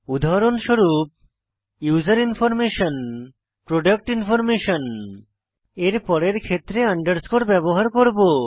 উদাহরণস্বরূপ user information product information এর পরের ক্ষেত্রে আন্ডারস্কোর ব্যবহার করব